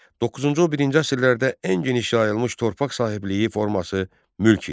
Doqquzuncu-on birinci əsrlərdə ən geniş yayılmış torpaq sahibliyi forması mülk idi.